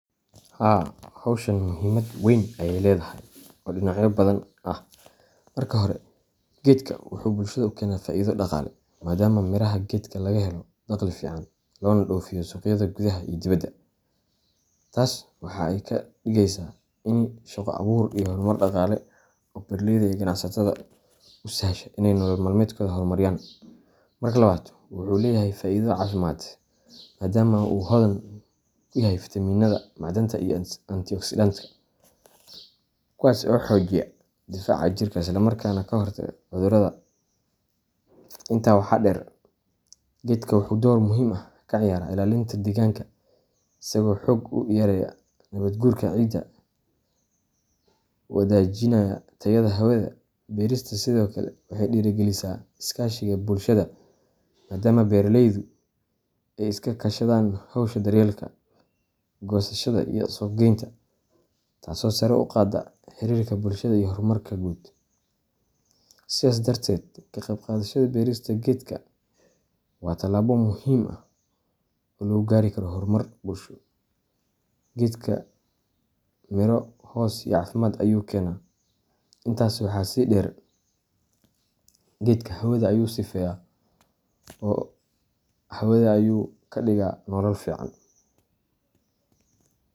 Haa howshan muhimaad weyn ayey ledahay, oo dhinacyo badan ah. Marka hore, geedka wuxuu bulshada u keenaa faa’iido dhaqaale, maadaama miraha gedka laga helo dakhli fiican, loona dhoofiyo suuqyada gudaha iyo dibadda. Taas waxa ay ka dhigeysaa ini shaqo abuur iyo horumar dhaqaale oo beeraleyda iyo ganacsatada u sahasha inay nolol maalmeedkooda horumariyaan. Marka labaad, wuxuu leeyahay faa’iido caafimaad, maadaama uu hodan ku yahay fiitamiinada, macdanta iyo antioxidantska, kuwaas oo xoojiya difaaca jirka isla markaana ka hortaga cudurrada. Intaa waxaa dheer, geedka wuxuu door muhiim ah ka ciyaaraa ilaalinta deegaanka, isagoo xoog u yareeya nabaadguurka ciidda, wanaajiyana tayada hawada. Beerista sidoo kale waxay dhiirrigelisaa iskaashiga bulshada, maadaama beeraleydu ay iska kaashadaan hawsha daryeelka, goosashada, iyo suuqgeynta, taasoo sare u qaadda xiriirka bulshada iyo horumarka guud. Sidaas darteed, ka qeyb qaadashada beerista geedka waa tallaabo muhiim ah oo lagu gaari karo horumar bulsho ,gedka miroo, hoos iyo cafimaad ayu kena. Intasi waxa si dheer ,gedka xawada ayu sifeya oo xawada ayu kadiga nolol fican.